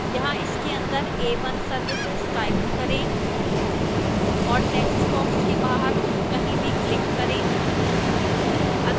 यहां इसके अंदर a1 services type करें और textbox के बाहर कहीं भी click करें